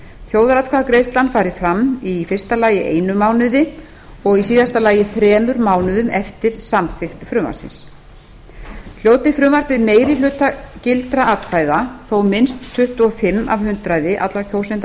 þjóðaratkvæðagreiðslan fari fram í fyrsta lagi einum mánuði og í síðasta lagi þremur mánuðum eftir samþykkt frumvarpsins hljóti frumvarpið meiri hluta gildra atkvæða þó minnst tuttugu og fimm af hundraði allra kjósenda